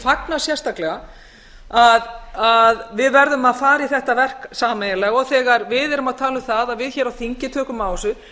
fagna sérstakega að við verðum að fara i þetta verk sameiginlega þegar við erum að tala um það að við hér á þingi tökum á þessu